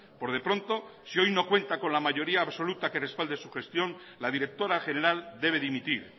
por de pronto si hoy no cuenta con la mayoría absoluta que respalde su gestión la directora general debe dimitir